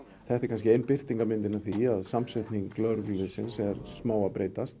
þetta er kannski ein birtingarmyndirn af því að samsetning lögregluliðsins er að breytast